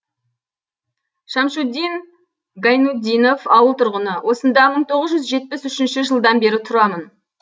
шамшутдин гайнутдинов ауыл тұрғыны осында мың тоғыз жүз жетпіс үшінші жылдан бері тұрамын